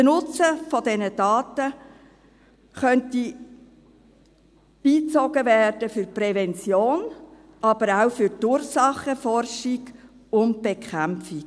Der Nutzen dieser Daten könnte für die Prävention beigezogen werden, aber auch für die Ursachenforschung und -bekämpfung.